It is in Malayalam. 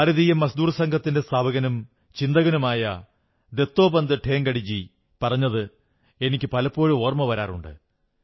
ഭാരതീയ മസ്ദൂർ സംഘത്തിന്റെ സ്ഥാപകനും ചിന്തകനുമായ ദത്തോപന്ത് ഠേംഗഡിജി പറഞ്ഞത് എനിക്ക് പലപ്പോഴും ഓർമ്മ വരാറുണ്ട്